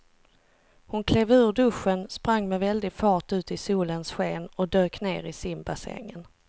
Hon klev ur duschen, sprang med väldig fart ut i solens sken och dök ner i simbassängen.